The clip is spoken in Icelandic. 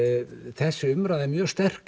þessi umræða er mjög sterk